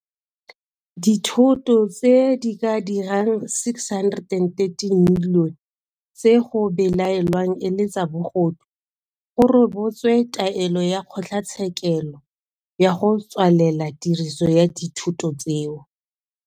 Dithoto tse di ka dirang R613 milione tse go belaelwang e le tsa bogodu go rebotswe taelo ya kgotlatshe kelo ya go tswalela tiriso ya dithoto tseo.